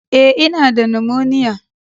Eh, I na da "pneumonia ".